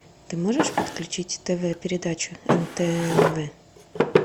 ты можешь подключить тв передачу нтнв